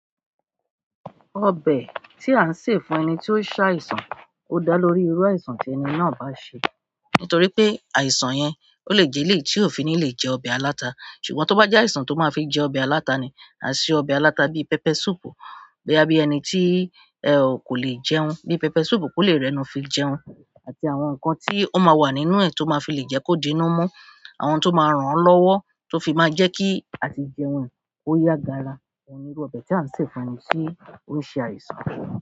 Ọbẹ̀ ti an se fún ẹni ti o se àìsàn o daa lórí iru àìsàn ti ẹni náà ba n se. Nítorí pé àìsàn yẹn ó lè jẹ́ elèyí tí ó fi ní lè jẹ ọbẹ̀ aláta. Ṣùgbọ́n tó bá jẹ́ àìsàn tó máa fi jẹ ọbẹ̀ aláta ni, à ṣe ọbẹ̀ aláta bí pẹpẹ sùúrù. Bí i ẹni tí e ò kò lè jẹun, bí pẹpẹ sùúrù kò lè rẹnu fi jẹun, àti àwọn nǹkan tí ó máa wà nínú ẹ̀ tó máa fi lè jẹ́ kó dé'nú mọ́, àwọn tó máa ràn án lọ́wọ́ tó fi máa jẹ́ kí à ti jẹun kó yá gàra. Ó ní irú ọbẹ̀ tí à ń sè fún ẹni tí ó ń ṣe àìsàn.